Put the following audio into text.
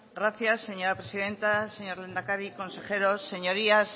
gracias señora presidenta señor lehendakari consejeros señorías